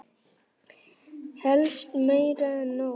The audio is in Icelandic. Helst meira en nóg.